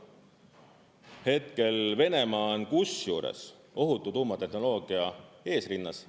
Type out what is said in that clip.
Hetkel Venemaa on kusjuures ohutu tuumatehnoloogia eesrinnas.